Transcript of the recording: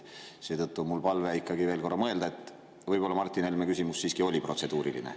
Seetõttu on mul palve ikkagi veel korra mõelda, et võib-olla Martin Helme küsimus siiski oli protseduuriline.